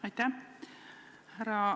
Aitäh!